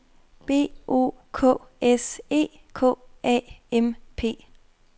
B O K S E K A M P